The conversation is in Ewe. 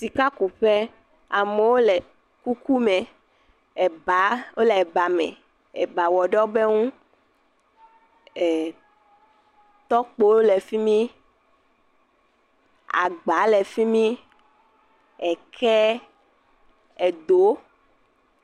Sakakuƒe amewo le kuku me, eba wole eba me, eba wɔ ɖe wobe ŋu, e tɔkpowo le fi mi. Agba le fi mi. Eke, edo.